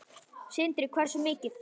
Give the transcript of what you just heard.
Sindri: Hversu mikið?